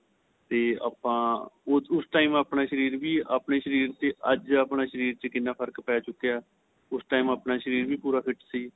ਤੇ ਆਪਾਂ ਉਸ time ਆਪਣਾ ਸ਼ਰੀਰ ਵੀ ਆਪਣੇਂ ਸ਼ਰੀਰ ਵੀ ਅੱਜ ਆਪਣੇਂ ਸ਼ਰੀਰ ਵਿੱਚ ਕਿੰਨਾ ਫ਼ਰਕ ਪੈ ਚੁਕਿਆ ਏ ਉਸ time ਆਪਣਾ ਸ਼ਰੀਰ ਵੀ ਪੂਰਾ fit ਸੀ